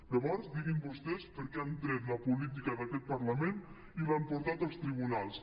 llavors diguin vostès per què han tret la política d’aquest parlament i l’han portat als tribunals